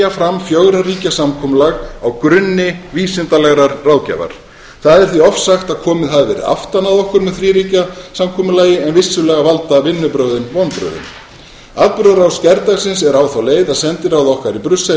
fram fjögurra ríkja samkomulag á grunni vísindalegrar ráðgjafar það er því ofsagt að komið hafi verið aftan að okkur með þríríkja samkomulagi en vissulega valda vinnubrögðin vonbrigðum atburðarás gærdagsins er á þá leið að sendiráð okkar í brussel